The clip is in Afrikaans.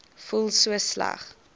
voel so sleg